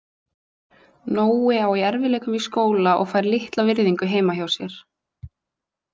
Nói á í erfiðleikum í skóla og fær litla virðingu heima hjá sér.